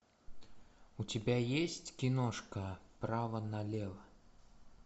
у тебя есть киношка право налево